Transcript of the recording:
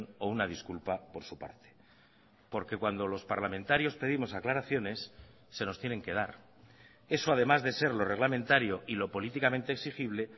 o una disculpa por su parte porque cuando los parlamentarios pedimos aclaraciones se nos tienen que dar eso además de ser lo reglamentario y lo políticamente exigible